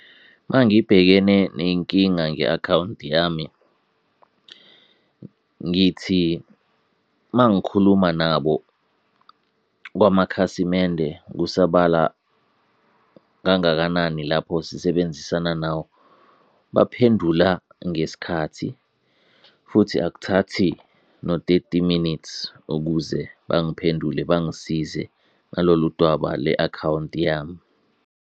Mangibhekene ney'nkinga nge-akhawunti yami ngithi mangikhuluma nabo kwamakhasimende kusabala kangakanani lapho sisebenzisana nawo, baphendula ngesikhathi futhi akuthathi no-thirty minutes ukuze bangiphendule, bangisize ngalolu dwaba le-akhawunti yami.